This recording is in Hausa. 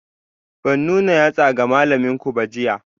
Ban nuna yatsana ga malaminku ba jiya?